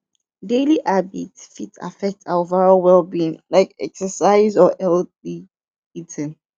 daily habits fit affect our overall wellbeing like exercise or healthy eating